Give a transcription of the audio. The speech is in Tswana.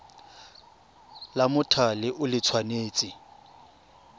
la mothale o le tshwanetse